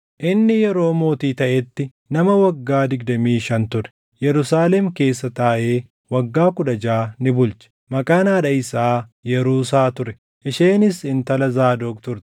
Inni yeroo mootii taʼetti nama waggaa digdamii shan ture; Yerusaalem keessa taaʼee waggaa kudha jaʼa ni bulche. Maqaan haadha isaa Yaruusaa ture; isheenis intala Zaadoq turte.